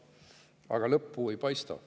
Aga lõppu ei paista.